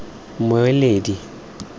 mmueledi